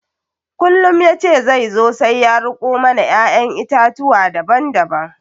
Kullum ya ce zai zo sai ya riko mana ƴaƴan itatuwa daban daban